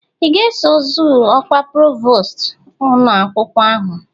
I ga-eso zọọ ọkwa provost ụnọakwkwọ ahụ?